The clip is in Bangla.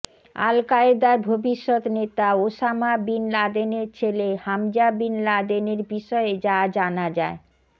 আল কায়েদার ভবিষ্যত নেতা ওসামা বিন লাদেনের ছেলে হামজা বিন লাদেনের বিষয়ে যা জানা যায়